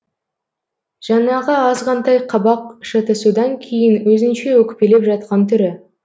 жаңағы азғантай қабақ шытысудан кейін өзінше өкпелеп жатқан түрі